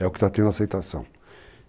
É o que está tendo aceitação.